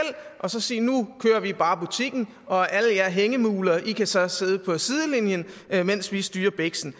og så sige at nu kører vi bare butikken og alle i hængemuler kan så sidde på sidelinjen mens vi styrer biksen